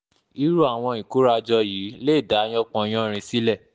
irú àwọn ìkórajọ yìí yìí lè dá yánpọnyánrin sílẹ̀